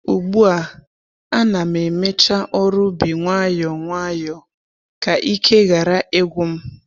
Ugbu a, a na'm emecha ọrụ ubi nwayọ nwayọ ka ike ghara ịgwu m